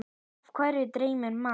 Af hverju dreymir mann?